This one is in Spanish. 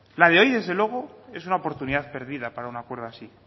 la de hoy desde luego es una oportunidad perdida para un acuerdo así